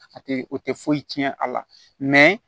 A tɛ o tɛ foyi tiɲɛ a la